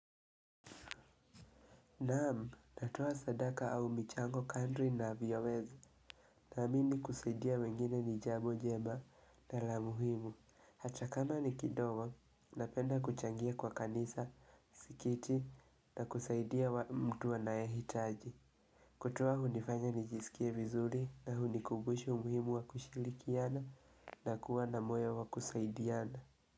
Naam, natoa sadaka au michango kadri navyoweza. Naamini kusaidia wengine ni jambo jema na la muhimu. Hata kama ni kidogo, napenda kuchangia kwa kanisa, msikiti na kusaidia mtu ana ehitaji. Kutoa hunifanya nijisikie vizuri na hunikubusha muhimu wa kushirikiana na kuwa na moyo wa kusaidiana.